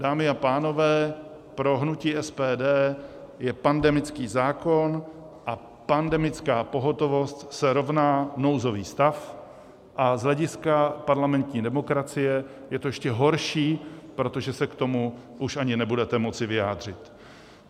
Dámy a pánové, pro hnutí SPD je - pandemický zákon a pandemická pohotovost se rovná nouzový stav a z hlediska parlamentní demokracie je to ještě horší, protože se k tomu už ani nebudete moci vyjádřit.